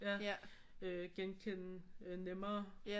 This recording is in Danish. Genkende nemmere